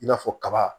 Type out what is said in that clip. I n'a fɔ kaba